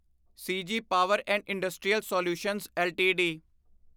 CG power and industrial solutions LTD